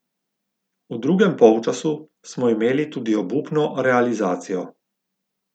V drugem polčasu smo imeli tudi obupno realizacijo.